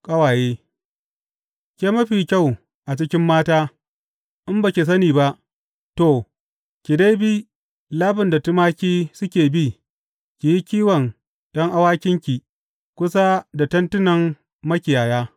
Ƙawaye Ke mafiya kyau a cikin mata, in ba ki sani ba, to, ki dai bi labin da tumaki suke bi ki yi kiwon ’yan awakinki kusa da tentunan makiyaya.